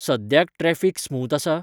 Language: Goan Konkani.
सद्याक ट्रॅफिक स्मुथ आसा?